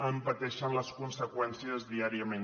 en pateixen les conseqüències diàriament